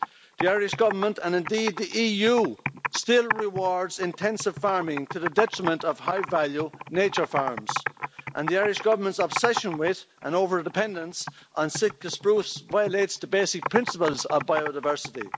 The Irish government, and indeed the EU, still rewards intensive farming to the detriment of high value nature farms and the Irish government's obsession with, and over dependence on, sitka spruce violates the basic principles of biodiversity.